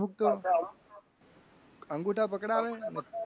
અંગૂઠા પકડાવી.